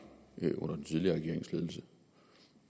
under den tidligere regerings ledelse